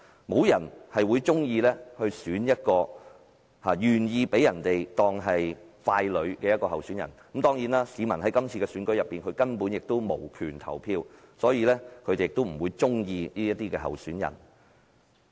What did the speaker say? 沒有人會喜歡一個甘心被當成傀儡的候選人當選，但市民在這次選舉中根本無權投票，所以，他們不會喜歡這位候選人。